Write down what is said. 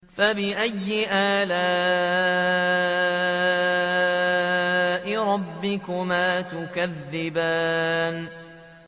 فَبِأَيِّ آلَاءِ رَبِّكُمَا تُكَذِّبَانِ